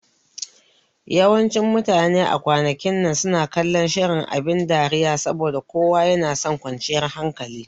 Yawancin mutane a kwanakin nan suna kallon shirin abin dariya saboda kowa yanason kwanciyar hankali